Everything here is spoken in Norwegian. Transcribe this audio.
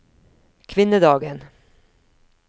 kvinnedagen